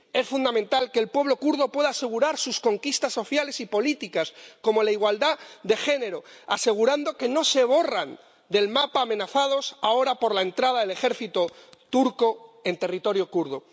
Es fundamental que el pueblo kurdo pueda asegurar sus conquistas sociales y políticas, como la igualdad de género, asegurando que no se borran del mapa, amenazadas ahora por la entrada del ejército turco en territorio kurdo.